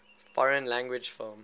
foreign language film